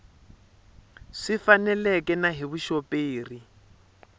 swi faneleke na hi vuxoperi